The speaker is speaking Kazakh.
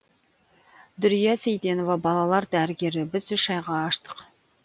дүрия сейтенова балалар дәрігері біз үш айға аштық